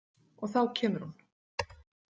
Og þá kemur hún.